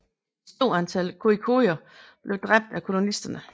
Et stort antal khoikhoier blev dræbt af kolonisterne